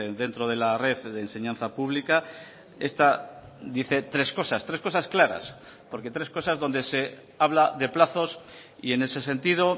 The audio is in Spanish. dentro de la red de enseñanza pública esta dice tres cosas tres cosas claras porque tres cosas donde se habla de plazos y en ese sentido